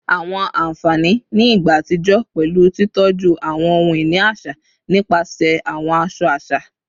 Awọn anfani ni igba atijọ pẹlu titọju awọn ohun-ini aṣa nipasẹ awọn aṣọ aṣa